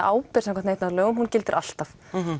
ábyrgð samkvæmt neytendalögum gildir alltaf